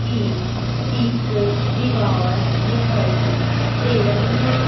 ਦੀ ਇੱਕ ਡੀਵਾਰ ਡੀਖਾਈ ਦੇ ਰਹੀ ਹੈ।